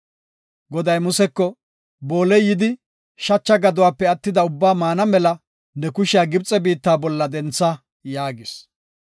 Goday Museko, “Booley yidi shacha gaduwape attida ubbaa maana mela ne kushiya Gibxe biitta bolla dentha” yaagis.